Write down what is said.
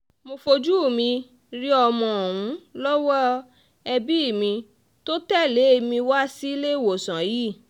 mo fojú mi rí ọmọ ọ̀hún lọ́wọ́ ẹbí mi tó tẹ̀lé mi wá síléèwọ̀sán yìí